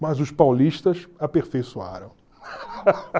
Mas os paulistas aperfeiçoaram.